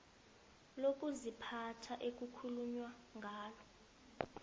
lokuziphatha ekukhulunywa ngalo